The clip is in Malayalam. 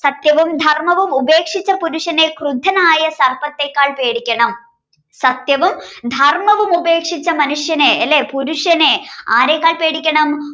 സത്യവും ധർമവും ഉപേക്ഷിച്ച പുരുഷനെ ക്രുജ്ജനായ സർപ്പത്തേക്കാൾ പേടിക്കണം സത്യവും ധർമവും ഉപേക്ഷിച്ച മനുഷ്യനെ ലെ പുരുഷനെ ആരെക്കാൾ പേടിക്കണം